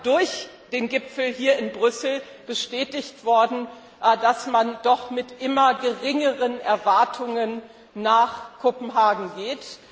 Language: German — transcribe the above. durch den Gipfel hier in Brüssel bestätigt worden, dass man mit immer geringeren Erwartungen nach Kopenhagen geht.